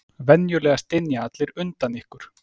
Venjulega stynja allir undan ykkur.